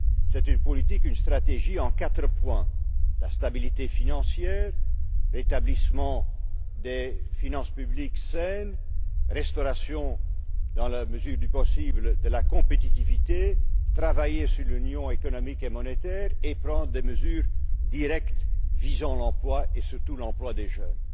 C'est une politique, une stratégie en quatre points assurer la stabilité financière, favoriser le rétablissement de finances publiques saines, restaurer dans la mesure du possible la compétitivité, travailler sur l'union économique et monétaire et prendre des mesures directes visant l'emploi et, surtout, l'emploi des jeunes.